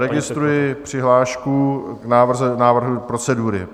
Registruji přihlášku k návrhu procedury.